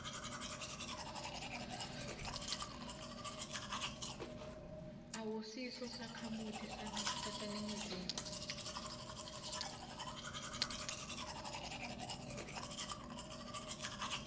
awusiso sakhamuti saseningizimu